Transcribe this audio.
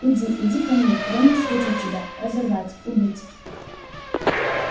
иди иди ко мне дай мне схватить тебя разорвать убить